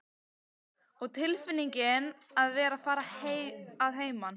Og tilfinningin að vera að fara að heiman.